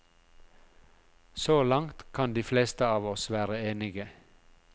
Så langt kan de fleste av oss være enige.